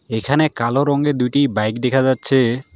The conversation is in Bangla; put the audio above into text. এখানে কালো রঙের দুইটি বাইক দেখা যাচ্ছে।